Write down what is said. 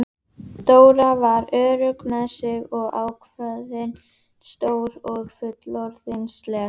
Dóra var örugg með sig og ákveðin, stór og fullorðinsleg.